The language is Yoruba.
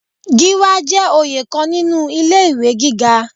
Gíwá jẹ́ oyè kan nínú ilé ìwé gíga.